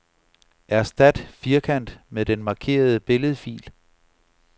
Erstat firkant med den markerede billedfil.